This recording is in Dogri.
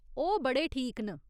ओह् बड़े ठीक न।